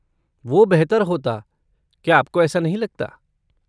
वो बेहतर होता, क्या आपको ऐसा नहीं लगता?